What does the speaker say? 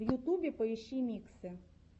в ютубе поищи миксы